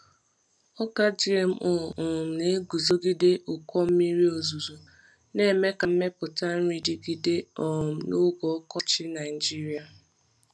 Ọka GMO um na-eguzogide ụkọ mmiri ozuzo, na-eme ka mmepụta nri dịgide um n’oge ọkọchị Nigeria.